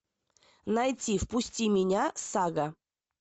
найти впусти меня сага